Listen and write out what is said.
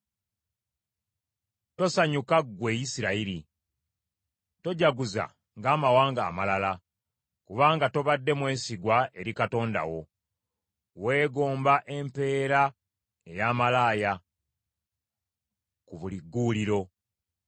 Tosanyuka ggwe Isirayiri; tojaguza ng’amawanga amalala, kubanga tobadde mwesigwa eri Katonda wo, weegomba empeera eya malaaya ku buli gguuliro.